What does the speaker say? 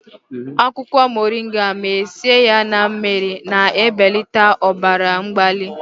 akwụkwọ moringa ma sie ya na mmiri, na-ebelata ọbara mgbali